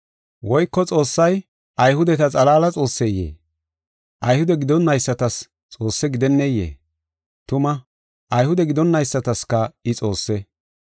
Woyko Xoossay Ayhudeta xalaala Xoosseyee? Ayhude gidonaysatas Xoosse gidenneyee? Tuma, Ayhude gidonaysataska I Xoosse.